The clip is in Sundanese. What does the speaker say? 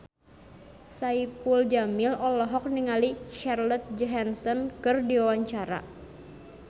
Saipul Jamil olohok ningali Scarlett Johansson keur diwawancara